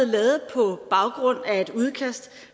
lavet på baggrund af et udkast